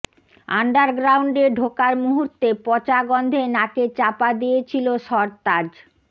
আন্ডারগ্রাউন্ডে ঢোকার মুহুর্তে পচা গন্ধে নাকে চাপা দিয়েছিল সরতাজ